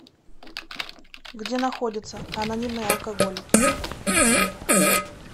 где находится анонимные алкоголики